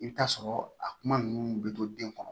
I bɛ t'a sɔrɔ a kuma ninnu bɛ to den kɔnɔ